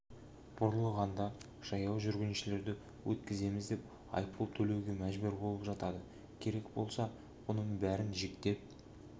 бұрылғанда жаяу жүргіншілерді өткіземіз деп айыппұл төлеуге мәжбүр болып жатады керек болса бұнын бәрін жіктеп